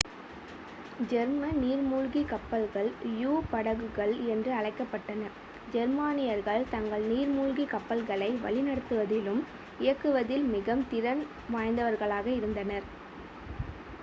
German நீர்மூழ்கிக் கப்பல்கள் யு-படகுகள் என்று அழைக்கப்பட்டன ஜெர்மானியர்கள் தங்கள் நீர்மூழ்கிக் கப்பல்களை வழிநடத்துவதிலும் இயக்குவதில் மிகவும் திறன் வாய்ந்தவர்களாக இருந்தனர்